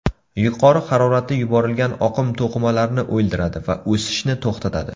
Yuqori haroratda yuborilgan oqim to‘qimalarni o‘ldiradi va o‘sishni to‘xtatadi.